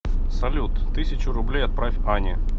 салют тысячу рублей отправь ане